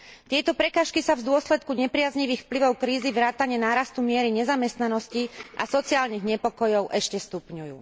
Tieto prekážky sa v dôsledku nepriaznivých vplyvov krízy vrátane nárastu miery nezamestnanosti a sociálnych nepokojov ešte stupňujú.